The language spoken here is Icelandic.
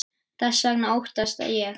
Þess vegna óttast ég.